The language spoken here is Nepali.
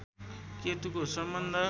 केतुको सम्बन्ध